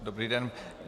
Dobrý den.